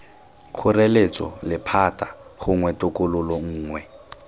kgoreletso lephata gongwe tokololo nngwe